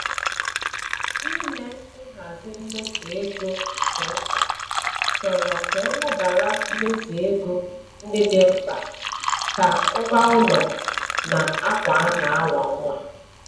Ime nhazi mmefu ego nke nta chọrọ ka e lebara mmefu ego ndị dị mkpa ka ngwaụlọ na akwa a na-awa nwa.